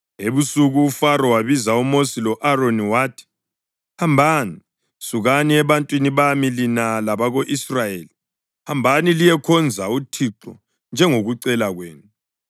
Ebusuku uFaro wabiza uMosi lo-Aroni wathi, “Hambani! Sukani ebantwini bami, lina labako-Israyeli. Hambani liyekhonza uThixo njengokucela kwenu.